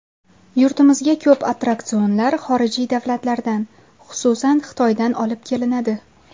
Yurtimizga ko‘p attraksionlar xorijiy davlatlardan, xususan, Xitoydan olib kelinadi.